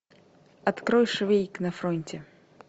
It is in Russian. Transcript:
открой швейк на фронте